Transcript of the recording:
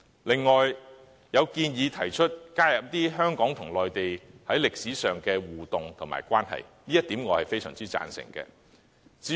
有人亦建議加入香港與內地在歷史上的互動關係，我非常贊成這點。